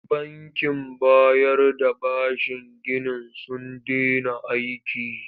Bankin bayar da bashin ginin sun dena aiki.